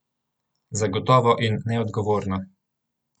Zagotovo in neodgovorno!